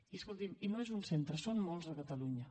i escolti’m no és un centre són molts a catalunya